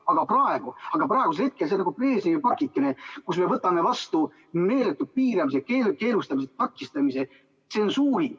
Aga praegu on see nagu Brežnevi pakike, millega me võtame vastu meeletu piiramise, keelustamise, takistamise, tsensuuri.